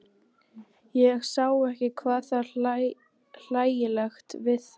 Ég sá ekki hvað var hlægilegt við það.